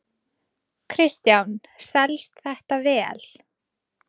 Kristján: Selst þetta vel?